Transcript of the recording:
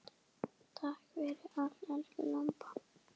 Takk fyrir allt, elsku Imba.